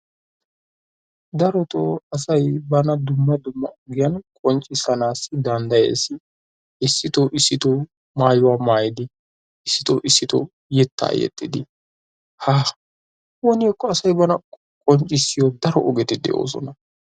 darotoo asay bana dumma dumma ogiyan qonccissanaassi dandayes, issitoo isitoo maayuwaa maayidi issitoo issitoo yetta yexxidi ha! woni hekko asay bana qonccissiyoo daro ogeti de'oosona?